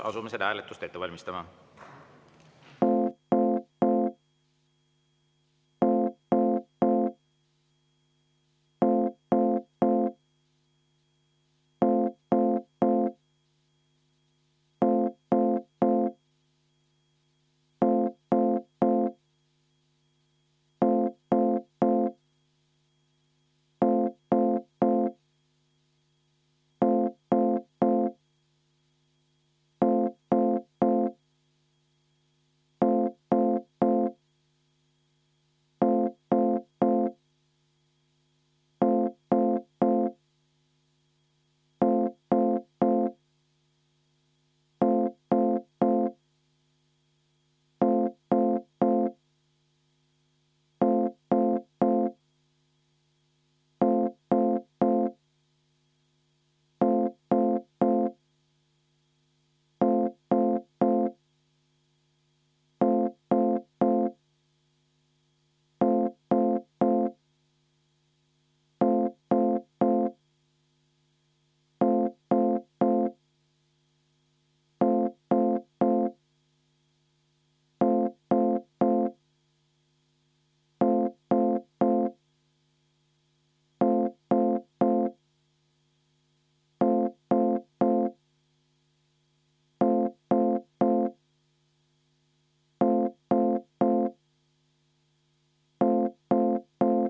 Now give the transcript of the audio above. Asume seda hääletust ette valmistama.